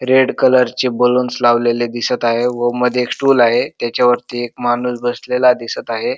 Red colour चे balloons लावलेले दिसत आहे व मध्ये एक स्टूल आहे व त्याच्या वरती एक माणुस बसलेला दिसत आहे.